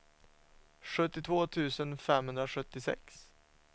sjuttiotvå tusen femhundrasjuttiosex